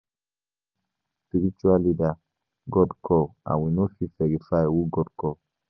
No be all spritual leaders God call and we no fit verify who God call